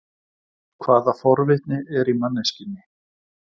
Hvaða forvitni er í manneskjunni?